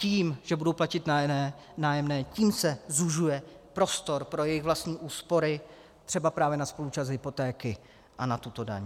Tím, že budou platit nájemné, tím se zužuje prostor pro jejich vlastní úspory třeba právě na spoluúčast hypotéky a na tuto daň.